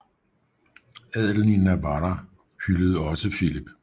Adelen i Navarra hyldede også Filip